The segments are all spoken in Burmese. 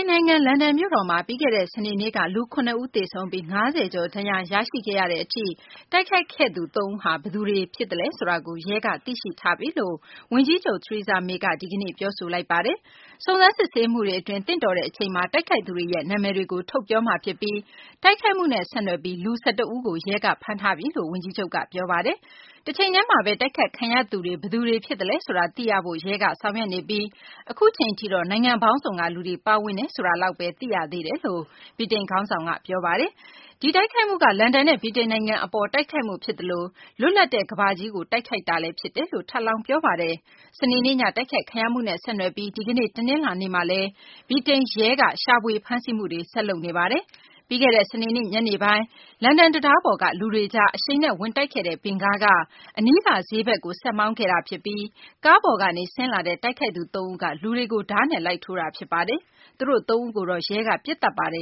န်နိုင်ငံ လန်ဒန်မြို့တော်မှာ ပြီးခဲ့တဲ့ စနေနေ့က လူ ၇ ဦး သေဆုံးပြီး ၅၀နီးပါး ဒဏ်ရာရရှိခဲ့ရတဲ့ အထိ တိုက်ခိုက်ခဲ့သူ ၃ ဦးဟာ ဘယ်သူတွေ ဖြစ်တယ်ဆိုတာကို ရဲက သိရှိထားပြီလို့ ဝန်ကြီးချုပ် Theresa May က ဒီကနေ့ ပြောပါတယ်။ စုံစမ်းစစ်ဆေးမှုတွေ အတွင်း သင့်တော်တဲ့ အချိန်မှာ တိုက်ခိုက်သူတွေရဲ့ နာမည်တွေကို ထုတ်ပြောမှာဖြစ်ပြီး တိုက်ခိုက်မှုနဲ့ ဆက်နွှယ်ပြီး လူ ၁၁ ဦးကို ရဲက ဖမ်းထားတယ်လို့ ဝန်ကြီးချုပ် May က ပြောပါတယ်။ တချိန်တည်းမှာဘဲ တိုက်ခိုက်ခံခဲ့ရသူတွေ ဘယ်သူတွေ ဖြစ်သလဲ ဆိုတာသိရဖို့ ရဲက ဆောင်ရွက်နေပြီး အခုအချိန်ထိတော့ နိုင်ငံပေါင်းစုံက လူတွေ ပါဝင်တယ်ဆိုတာဘဲ သိထားရသေးတယ်လို့ ဗြိတိန် ခေါင်းဆောင်က ပြောပါတယ်။ ဒီတိုက်ခိုက်မှုက လန်ဒန်နဲ့ ဗြိတိန်နိုင်ငံကို တိုက်ခိုက်မှုဖြစ်သလို လွတ်လပ်တဲ့ ကမ္ဘာကြီးကို တိုက်ခိုက်တာလည်း ဖြစ်တယ်လို့ ထပ်လောင်း ပြောပါတယ်။ စနေနေ့ည တိုက်ခိုက်ခံရမှုနဲ့ ဆက်နွှယ်ပြီး ဒီကနေ့ တနလာၤနေ့မှာလည်း ဗြိတိန်ရဲက ရှာဖွေ ဖမ်းဆီးမှုတွေ ဆက်လုပ်နေပါတယ်။ ပြီးခဲ့တဲ့ စနေနေ့ညနေပိုင်းမှာ လန်ဒန်တံတားပေါ်က လူတွေကြား အရှိန်နဲ့ ဝင်တိုက်ခဲ့တဲ့ ဗင်ကားက အနီးက ဈေးဘက်ကို ဆက်မောင်းခဲ့ပြီး ကားပေါ်ကနေ ဆင်းလာတဲ့ တိုက်ခိုက်သူ သုံးဦးက လူတွေကို ဓားနဲ့ လိုက်ထိုးခဲ့တာ ဖြစ်ပါတယ်။ သူတို့ သုံးဦးကိုတော့ ရဲက ပစ်သတ်ခဲ့တာပါ။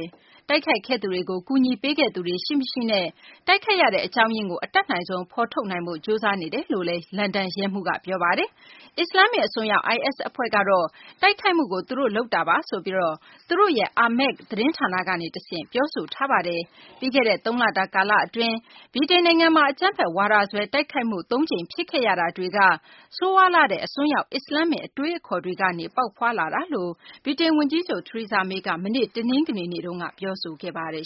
တိုက်ခိုက်ခဲ့သူတွေကို ကူညီပေးခဲ့သူတွေ ရှိမရှိနဲ့ တိုက်ခိုက်ရတဲ့ အကြောင်းရင်းကို အတတ်နိုင်ဆုံး ဖော်ထုတ်နိုင်ဖို့ ကြိုးစားနေတယ်လို့လည်း လန်ဒန် ရဲမှူးက ပြောပါတယ်။ အစ္စလာမ္မစ် အစွန်းရောက် IS အဖွဲ့ကတော့ တိုက်ခိုက်မှုကို သူတို့ လုပ်တာပါဆိုပြီး သူတို့ရဲ့ Amaq သတင်းဌာနကနေ တဆင့် ပြောဆိုထားပါတယ်။ ပြီးခဲ့တဲ့ သုံးလတာ ကာလ အတွင်း ဗြိတိန် နိုင်ငံမှာ အကြမ်းဖက်ဝါဒစွဲ တိုက်ခိုက်မှု သုံးကြိမ် ဖြစ်ခဲ့ရတာတွေက ဆိုးရွားလှတဲ့ အစွန်းရောက် အစ္စလာမ္မစ် အတွေးအခေါ်ကနေ ပေါ်ထွက်လာတာလို့ ဗြိတိန် ဝန်ကြီးချုပ် Theresa May က မနေ့ တနင်္ဂနွေနေ့မှာ ပြောဆိုခဲ့ပါတယ်